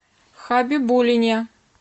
хабибулине